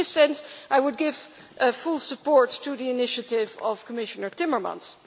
In this sense, I would give full support to the initiative of Commissioner Timmermans.